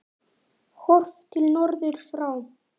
Horft til norðurs frá